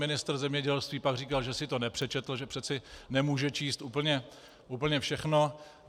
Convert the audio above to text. Ministr zemědělství pak říkal, že si to nepřečetl, že přece nemůže číst úplně všechno.